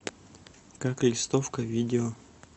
как листовка видео